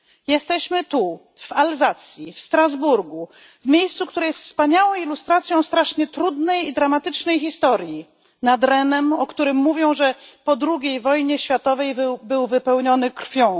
Jesteśmy tu w Alzacji, w Strasburgu, w miejscu, które jest wspaniałą ilustracją strasznie trudnej i dramatycznej historii, nad Renem, o którym mówią, że po drugiej wojnie światowej był wypełniony krwią.